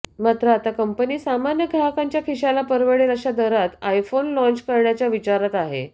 मात्र आता कंपनी सामान्य ग्राहकांच्या खिशाला परवडेल अशा दरात आयफोन लाँच करण्याच्या विचारात आहे